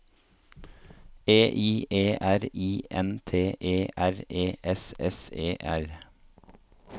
E I E R I N T E R E S S E R